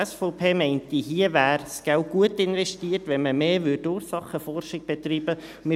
Die SVP meint, hier wäre das Geld gut investiert, wenn man mehr Ursachenforschung betreiben würde.